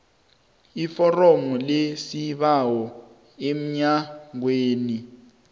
iforomo lesibawo emnyangweni